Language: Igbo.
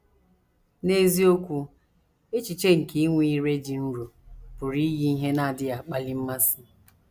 N’eziokwu, echiche nke inwe ‘ ire dị nro ’ pụrụ iyi ihe na - adịghị akpali mmasị.